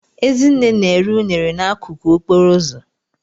Ezinne na-ere unere n'akụkụ okporo ụzọ.